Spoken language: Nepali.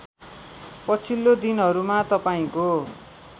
पछिल्लो दिनहरूमा तपाईँको